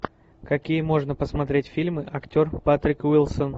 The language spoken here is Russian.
какие можно посмотреть фильмы актер патрик уилсон